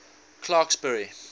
clarksburry